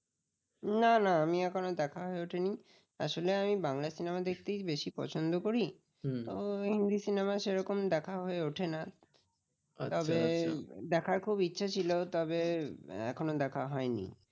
না না আমি এখনো দেখা হয়ে ওঠেনি, আসলে আমি বাংলা cinema দেখতেই বেশি পছন্দ করি তো হিন্দি cinema সেরকম দেখা হয়ে ওঠে না তবে দেখার খুব ইচ্ছা ছিল তবে এখনো দেখা হয়নি।